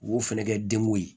U b'o fɛnɛ kɛ denkun ye